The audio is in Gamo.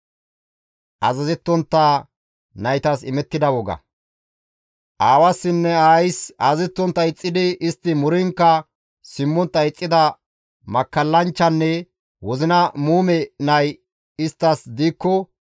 Aawassinne aayis azazettontta ixxidi istti muriinkka simmontta ixxida makkallanchchanne wozina muume nay isttas diikko,